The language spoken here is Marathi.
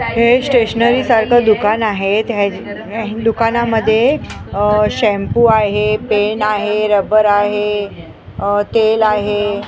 हे स्टेशनरी सारखं दुकान आहे हे दुकानामध्ये अ शॅम्पू आहे पेन आहे रबर आहे अ तेल आहे.